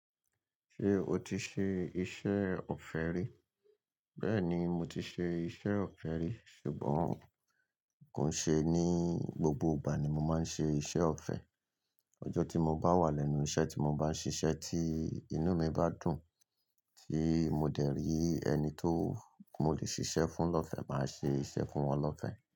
Ṣé o ti ṣe iṣẹ́ ọ̀fẹ́ rí? Bẹ́ẹ̀ni, mo ti ṣe iṣẹ́ ọ̀fẹ́ rí. Ṣùgbọ́n kò ṣe ní gbogbo ìgbà ni mo máa ń ṣe iṣẹ́ ọ̀fẹ́. Ijọ́ tí mo bá wà lẹ́nu iṣẹ́ tí mo bá ń ṣiṣẹ́ tí inú mi bá dùn tí mo dẹ̀ rí ẹni tó mo lè ṣiṣẹ́ fún lọ́fẹ̀, màá ṣe iṣẹ́ fún wọn lọ́fẹ̀